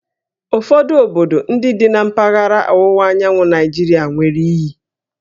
Ụfọdụ obodo ndị dị na mpaghara ọwụwa anyanwụ Naịjirịa nwere íyí